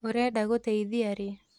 ũrenda gũteithia rĩ?